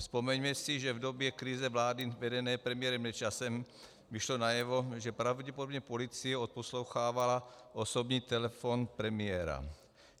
Vzpomeňme si, že v době krize vlády vedené premiérem Nečasem vyšlo najevo, že pravděpodobně policie odposlouchávala osobní telefon premiéra.